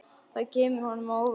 Það kemur honum á óvart.